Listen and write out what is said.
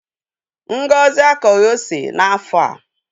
Ngozi akọghị ose n'afọ a.